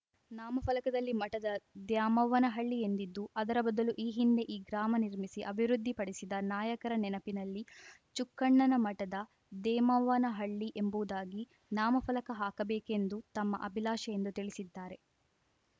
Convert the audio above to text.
ನಾಮಫಲಕದಲ್ಲಿ ಮಠದ ದ್ಯಾಮವ್ವನಹಳ್ಳಿ ಎಂದಿದ್ದು ಅದರ ಬದಲು ಈ ಹಿಂದೆ ಈ ಗ್ರಾಮ ನಿರ್ಮಿಸಿ ಅಭಿವೃದ್ಧಿ ಪಡಿಸಿದ ನಾಯಕರ ನೆನಪಿನಲ್ಲಿ ಚುಕ್ಕಣ್ಣನ ಮಠದ ದೇಮವ್ವನಹಳ್ಳಿ ಎಂಬುವುದಾಗಿ ನಾಮಫಲಕ ಹಾಕ ಬೇಕೆಂಬುದು ತಮ್ಮ ಅಭಿಲಾಷೆ ಎಂದು ತಿಳಿಸಿದ್ದಾರೆ